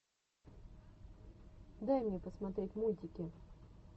дай мне посмотреть мультики